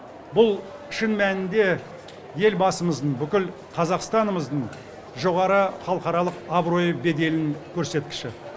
бұл шын мәнінде елбасымыздың бүкіл қазақстанымыздың жоғары халықаралық абыройы беделінің көрсеткіші